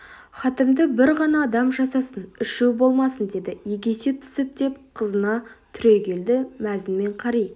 хатімді бір ғана адам жасасын ішу болмасын деді егесе түсіп деп қызына түрегелді мәзін мен қари